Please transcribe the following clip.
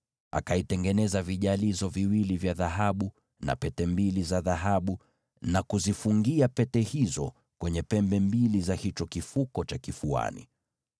Akatengeneza vijalizo viwili vya dhahabu na pete mbili za dhahabu, na kuzifungia pete hizo kwenye pembe mbili za hicho kifuko cha kifuani.